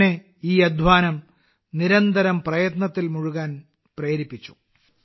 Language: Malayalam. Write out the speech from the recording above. എന്നെ ഈ അധ്വാനം നിരന്തരം പ്രയത്നത്തിൽ മുഴുകാൻ പ്രേരിപ്പിക്കുന്നു